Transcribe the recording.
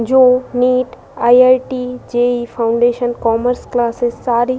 जो NEET IIT. JEE foundation commerce classes सारी --